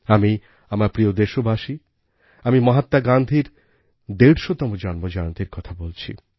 আমার প্রিয় দেশবাসী আমি মহাত্মা গান্ধীর ১৫০তম জন্মজয়ন্তীর কথা বলছি